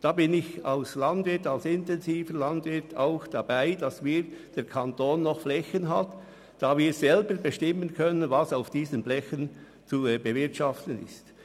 Da bin ich als intensiver Landwirt auch dafür, dass der Kanton noch über Flächen verfügt, auf welchen er selber bestimmen kann, wie diese zu bewirtschaften sind.